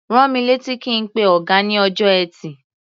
Rán mi létí kí n pe ọ̀gá ní ọjọ́ Ẹtì.